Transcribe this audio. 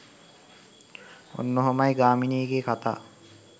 ඔන්න ඔහොමයි ගාමිනීගෙ කතා.